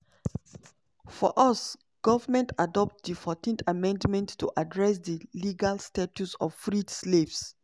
for us goment adopt di14th amendment to address di legal status of freed slaves.